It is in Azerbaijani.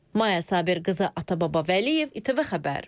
Maya Sabirqızı, Atababa Vəliyev, İTV xəbər.